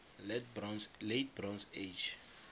late bronze age